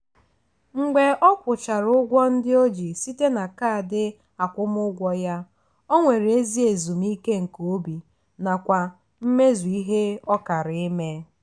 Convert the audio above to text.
mgbe ọ kwụchara ụgwọ ndị o ji site na kaadị akwụmụụgwọ ya o nwere ezi ezumike nke obi nakwa mmezu ihe ọ kara ime.